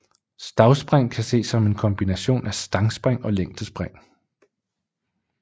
Stavspring kan ses som en kombination af stangspring og længdespring